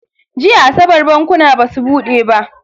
Jiya asabar bankuna basu bude ba.